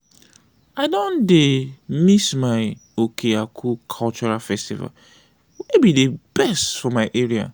i don dey miss my oke-aku cultural festival wey be dey best for my area.